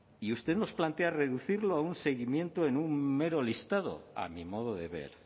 y usted nos plantea reducirlo a un seguimiento en un mero listado a mi modo de ver